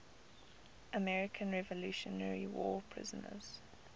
american revolutionary war prisoners